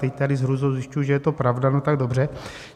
Teď tady s hrůzou zjišťuji, že to je pravda - no tak dobře.